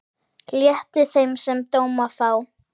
Léttir þeim, sem dóma fá.